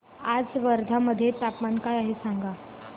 आज वर्धा मध्ये तापमान काय आहे सांगा